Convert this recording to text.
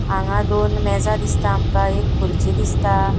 हांगा दोन मेजा दिसता आमका एक खुर्चि दिसता.